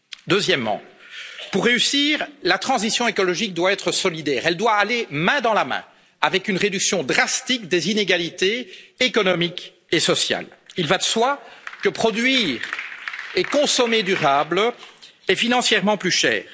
Deuxièmement, pour réussir, la transition écologique doit être solidaire, elle doit aller main dans la main avec une réduction drastique des inégalités économiques et sociales. Il va de soi que produire et consommer durable est financièrement plus